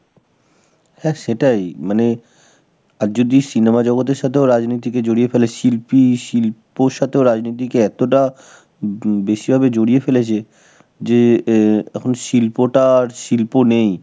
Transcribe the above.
হ্যাঁ সেটাই মানে, আর যদি cinema জগৎ এর সাথেও রাজনীতিকে জড়িয়ে ফেলে, শিল্পী, শিল্পর সাথেও রাজনৈতিক এতটা বে~ বেশি ভাবে জড়িয়ে ফেলেছে, যে এ~ এখন শিল্পটা আর শিল্প নেই.